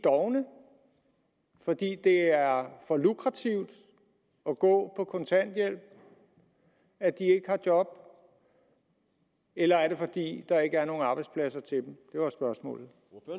fordi det er for lukrativt at gå på kontanthjælp at de ikke har job eller er det fordi der ikke er nogen arbejdspladser til dem det var spørgsmålet